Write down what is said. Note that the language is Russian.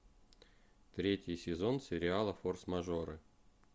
третий сезон сериала форс мажоры